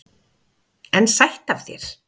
En sætt af þér!